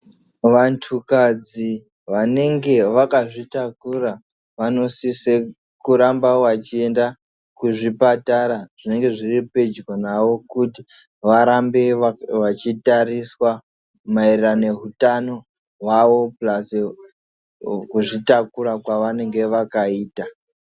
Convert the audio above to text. Vantu kadzi vanenge vakazvi takura vano sise kuramba vachi enda kuzvipatara zvinenge zviri pedyo navo kuti varambe vachi tariswa maererano neutano hwahwo pulazi ku zvitakura kwavanenge vakaita.